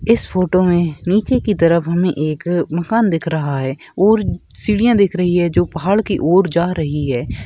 इस फोटो मे नीचे की तरफ हमे एक मकान दिख रहा है और सीढ़ियां दिख रही है जो पहाड़ की ओर जा रही है।